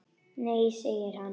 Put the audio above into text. Nei segir hann.